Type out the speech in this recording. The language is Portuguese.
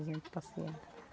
A gente passeia.